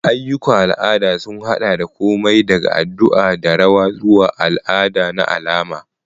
Ayyukan al'ada sun haɗa da komai daga addu'a da rawa zuwa al'ada na alama.